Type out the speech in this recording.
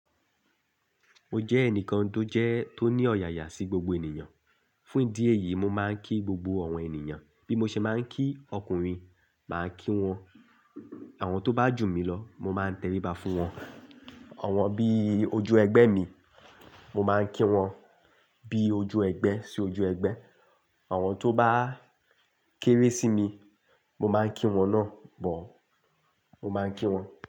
Mo jẹ́ ẹnìkan tó jẹ́ tó ní ọ̀yàyà sí gbogbo ènìyàn. Fún ìdí èyí, mo máa ń kí gbogbo àwọn ènìyàn. Bí mo ṣe máa ń kí ọkùnrin, màá ń kí wọn. Àwọn tó bá jù mí lọ, mo máa ń tẹríba fún wọn. Àwọn bí ojú ẹgbẹ́ mi, mo máa ń kí wọn bí ojú ẹgbẹ́ sí ojú ẹgbẹ́. Àwọn tó bá kéré sí mi, mo máa ń kí wọn náà bọ̀. Mo máa ń kí wọn.